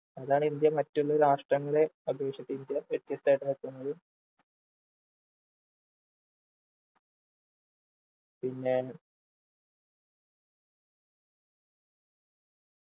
അതാണ് ഇന്ത്യ മറ്റുള്ള രാഷ്ട്രങ്ങളെ അപേക്ഷിച് ഇന്ത്യ വ്യത്യസ്തായിട്ട് നിക്കുന്നത് പിന്നെ